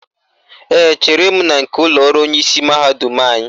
Ee, chere m na nke ụlọọrụ onyeisi mahadum anyị